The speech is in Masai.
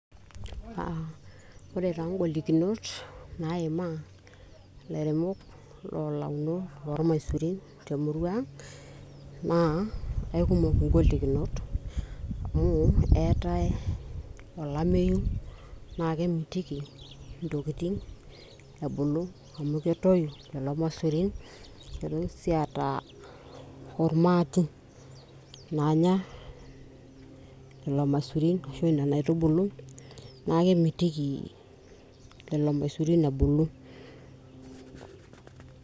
uh, ore taa ingolikinot naimaa ilairemok lolaunok lormaisurin temurua ang naa aikumok ingolikinot amu eetae olameyu naa kemitiki intokitin ebulu amu ketoyu lelo masurin nitoki sii aata ormaati naanya lelo masurin ashu nena aitubulu naa kemitiki lelo maisurin ebulu.